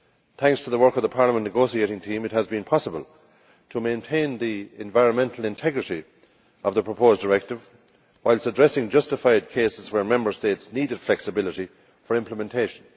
Thanks to the work of the Parliament negotiating team, it has been possible to maintain the environmental integrity of the proposed directive, whilst addressing justified cases where Member States needed flexibility for implementation.